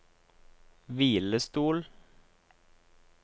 hvilestol